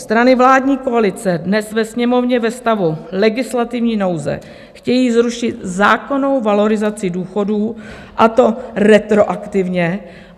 Strany vládní koalice dnes ve Sněmovně ve stavu legislativní nouze chtějí zrušit zákonnou valorizaci důchodů, a to retroaktivně.